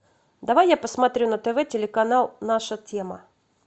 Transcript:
давай я посмотрю на тв телеканал наша тема